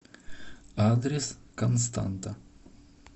адрес константа